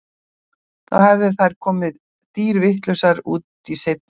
Þá hefðu þær komið dýrvitlausar út í seinni hálfleikinn.